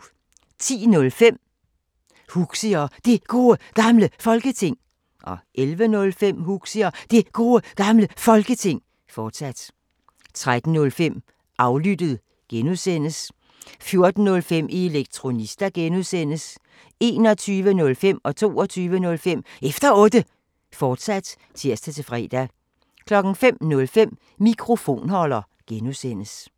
10:05: Huxi og Det Gode Gamle Folketing 11:05: Huxi og Det Gode Gamle Folketing, fortsat 13:05: Aflyttet G) 14:05: Elektronista (G) 21:05: Efter Otte, fortsat (tir-fre) 22:05: Efter Otte, fortsat (tir-fre) 05:05: Mikrofonholder (G)